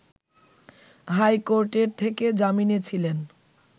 high কোর্টের থেকে জামিনে ছিলেন